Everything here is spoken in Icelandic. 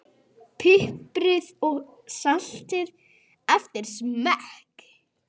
Piprið og saltið eftir smekk.